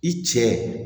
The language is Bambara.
I cɛ